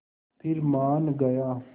फिर मान गया